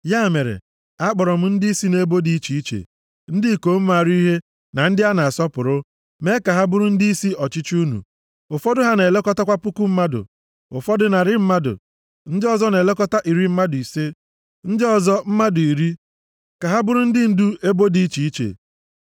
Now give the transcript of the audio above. Ya mere, a kpọọrọ m ndịisi nʼebo dị iche iche, ndị ikom maara ihe, na ndị a na-asọpụrụ, mee ka ha bụrụ ndịisi ọchịchị unu, ụfọdụ ha na-elekọta puku mmadụ, ụfọdụ narị mmadụ, ndị ọzọ na-elekọta iri mmadụ ise, ndị ọzọ mmadụ iri, ka ha bụrụ ndị ndu ebo dị iche iche.